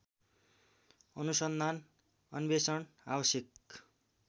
अनुसन्धान अन्वेषण आवश्यक